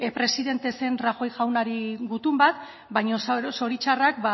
presidente zen rajoy jaunari gutun bat baino